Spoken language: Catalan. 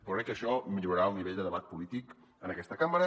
però crec que això millorarà el nivell de debat polític en aquesta cambra